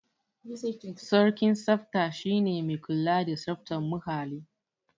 Sarkin tsafta shi ne mai kula da tsaftar muhalli.